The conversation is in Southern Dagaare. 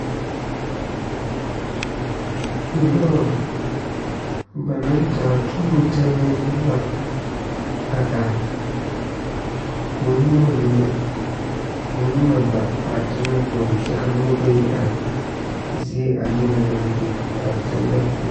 Lɔre ba naŋ taa tuuro tɛnee la a are ko'o nyɛmɛ mine, ko'o nyɛmɛ ba a teŋa kyɛ ka noba bayi are zie a nyɛmɛ naŋ be a teŋa poɔ